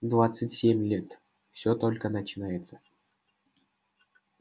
двадцать семь лет всё только начинается